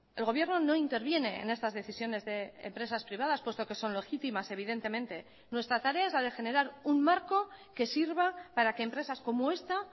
el gobierno no interviene en estas decisiones de empresas privadas puesto que son legítimas evidentemente nuestra tarea es la de generar un marco que sirva para que empresas como esta